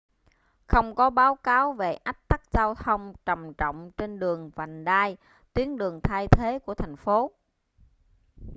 không có báo cáo về ách tắc giao thông trầm trọng trên đường vành đai tuyến đường thay thế của thành phố